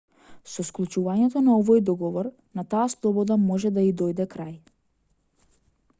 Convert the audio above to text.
со склучувањето на овој договор на таа слобода може да ѝ дојде крај